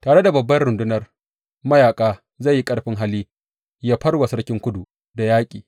Tare da babbar rundunar mayaƙa zai yi ƙarfin hali yă far wa sarkin Kudu da yaƙi.